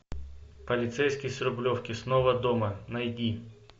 полицейский с рублевки снова дома найди